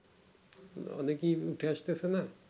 অনেকেই উঠছে আসতেছেনা